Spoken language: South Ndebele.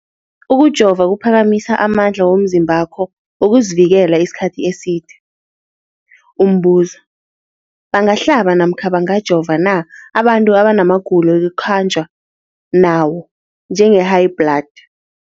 Ukujova kuphakamisa amandla womzimbakho wokuzivikela isikhathi eside. Umbuzo, bangahlaba namkha bangajova na abantu abanamagulo ekukhanjwa nawo, njengehayibhladi?